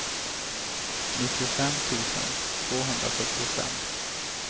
nittiofem tusen tvåhundrasjuttiofem